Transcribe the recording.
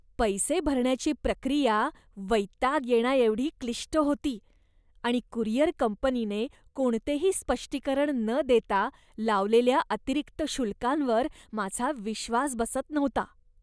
पैसे भरण्याची प्रक्रिया वैताग येण्याएवढी क्लिष्ट होती आणि कुरिअर कंपनीने कोणतेही स्पष्टीकरण न देता लावलेल्या अतिरिक्त शुल्कांवर माझा विश्वास बसत नव्हता.